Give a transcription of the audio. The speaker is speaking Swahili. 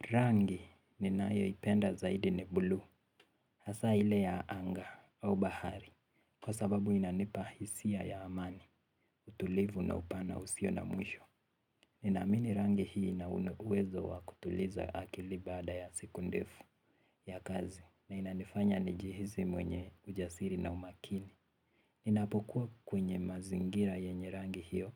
Rangi ninayo ipenda zaidi ni bluu, hasa ile ya anga au bahari, kwa sababu inanipa hisia ya amani, utulivu na upana usio na mwisho. Nina amini rangi hii ina uwezo wa kutuliza akili baada ya siku ndefu ya kazi, na inanifanya nijihisi mwenye ujasiri na umakini. Ninapokuwa kwenye mazingira yenye rangi hiyo,